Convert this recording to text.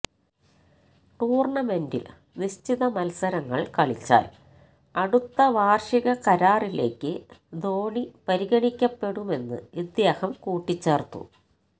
ടൂര്ണമെന്റില് നിശ്ചിത മത്സരങ്ങള് കളിച്ചാല് അടുത്ത വാര്ഷിക കരാറിലേക്ക് ധോണി പരിഗണിക്കപ്പെടുമെന്ന് ഇദ്ദേഹം കൂട്ടിച്ചേര്ത്തു